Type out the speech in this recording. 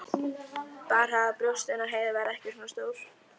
Bara að brjóstin á Heiðu verði ekki svona stór.